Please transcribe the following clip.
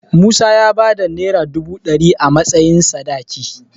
Musa y bayar da Naira dubu ɗari a matsayin sadaki.